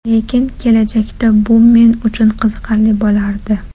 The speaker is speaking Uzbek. Lekin kelajakda bu men uchun qiziqarli bo‘lardi.